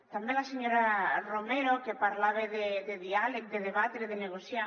també la senyora romero que parlava de diàleg de debatre de negociar